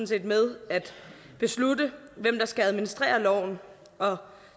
set med at beslutte hvem der skal administrere loven og